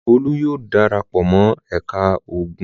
Olú yóò dara pọ̀ mọ́ ẹ̀ka ogun!